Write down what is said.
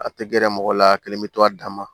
A tɛ gɛrɛ mɔgɔ la a kelen bɛ to a dan ma